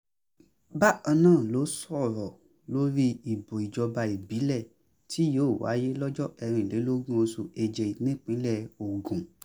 bákan náà ló sọ̀rọ̀ lórí ìbò ìjọba ìbílẹ̀ tí yóò wáyé lọ́jọ́ kẹrìnlélógún oṣù keje nípínlẹ̀ ogun